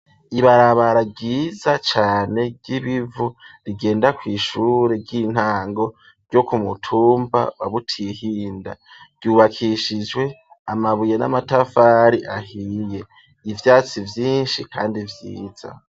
Ibarabara ryiza cane ry'ibivu rigenda kw'ishure ry'intango ryo kumutumba wa Butihinda, ryubakishijwe amabuye n'amatafari ahiye, ivyatsi vyinshi kandi vyiza.